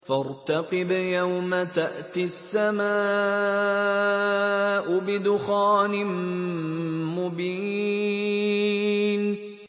فَارْتَقِبْ يَوْمَ تَأْتِي السَّمَاءُ بِدُخَانٍ مُّبِينٍ